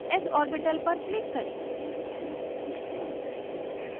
s orbital पर click करें